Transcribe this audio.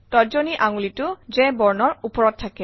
তৰ্জনী আঙুলিটো J বৰ্ণৰ ওপৰত থাকে